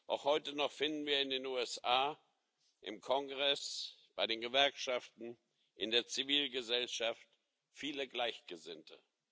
Auch heute noch finden wir in den USA im Kongress, bei den Gewerkschaften, in der Zivilgesellschaft viele Gleichgesinnte.